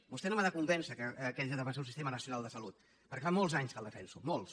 vostè no m’ha de convèncer que haig de defensar un sistema nacional de salut perquè fa molts anys que el defenso molts